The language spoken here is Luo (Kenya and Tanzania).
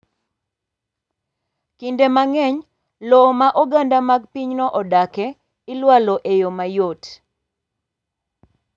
Kinde mang’eny, lowo ma oganda mag pinyno odake ilwalo e yo mayot.